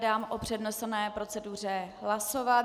Dám o přednesené proceduře hlasovat.